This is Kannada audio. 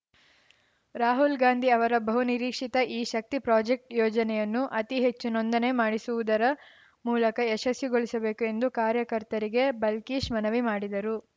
ರಾಹುಲ್‌ ಗಾಂಧಿ ಅವರ ಬಹುನಿರೀಕ್ಷಿತ ಈ ಶಕ್ತಿ ಪ್ರಾಜೆಕ್ಟ್ ಯೋಜನೆಯನ್ನು ಅತಿ ಹೆಚ್ಚು ನೋಂದನೆ ಮಾಡಿಸುವುದರ ಮೂಲಕ ಯಶಸ್ವಿಗೊಳಿಸಬೇಕು ಎಂದು ಕಾರ್ಯಕರ್ತರಿಗೆ ಬಲ್ಕೀಶ್‌ ಮನವಿ ಮಾಡಿದರು